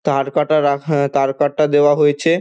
তার কাটা রাখা তার কাটা দেওয়া হয়েছে।